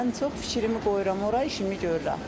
Ən çox fikrimi qoyuram ora, işimi görürəm.